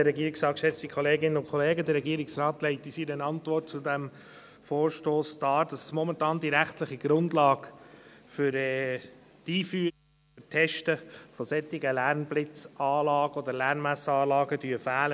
Der Regierungsrat legt in seiner Antwort zu diesem Vorstoss dar, dass momentan die rechtliche Grundlage für die Einführung und das Testen solcher Lärmblitzanlagen oder Lärmmessanlagen fehlen.